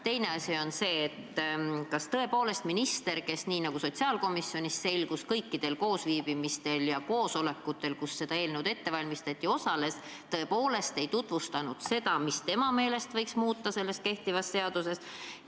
Teine asi on see, et kas minister, kes nii nagu sotsiaalkomisjonis selgus, osales kõikidel koosviibimistel, kus seda eelnõu ette valmistati, tõepoolest ei tutvustanud, mida tema meelest võiks kehtivas seaduses muuta.